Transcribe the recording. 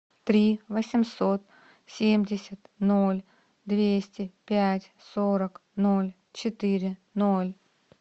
три восемьсот семьдесят ноль двести пять сорок ноль четыре ноль